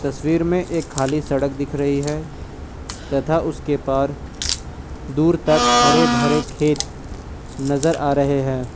तस्वीर में एक खाली सड़क दिख रही है तथा उसके पार दूर तक हरे भरे खेत नजर आ रहे है।